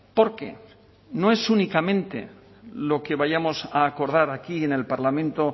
porque no es únicamente lo que vayamos a acordar aquí en el parlamento